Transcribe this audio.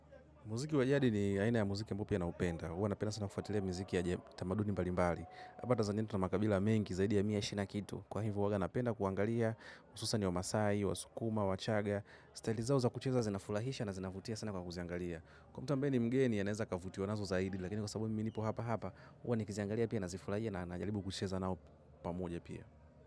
Muziki wajadi ni aina ya muziki ambao pi a naupenda. Uwa napenda sana kufuatilia mziki ya tamaduni balimbali. Hapa tanzania tu na makabila mengi zaidi ya mia ishirini na kitu. Kwa hivu uwaga napenda kuangalia. Ususa n wa masai, wa sukuma, wa chaga. Staili zao za kucheza zinafulahisha na zinafutia sana kwa kuziangalia. Kwa mta ambaye ni mgeni a neza akavutio nazo zaidi. Lakini kwa sababu mimi nipo hapa hapa uwa nikiziangalia pia na zifurahia na najalibu kucheza nao pamoja pia.